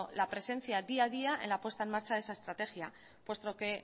la presencia día a día en la puesta en marcha de esa estrategia puesto que